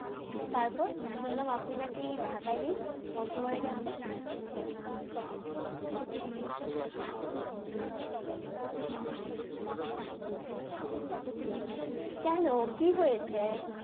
তারপর শুনলাম আপনি না কি ঢাকায় নেই? পঞ্চগড়ে গেছেন হম কিছু দিন আগেই আসলাম একটা কাজে এখানে আসে তো বিপদে পড়ে গেছি কেন? কি হয়েছে?